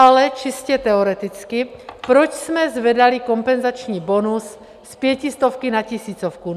Ale čistě teoreticky: proč jsme zvedali kompenzační bonus z pětistovky na tisícovku?